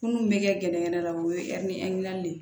Munnu bɛ kɛ gɛnɛgɛnɛ la o ye de ye